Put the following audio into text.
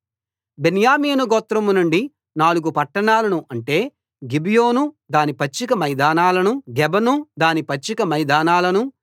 బెన్యామీను గోత్రం నుండి నాలుగు పట్టణాలను అంటే గిబియోను దాని పచ్చిక మైదానాలనూ గెబను దాని పచ్చిక మైదానాలనూ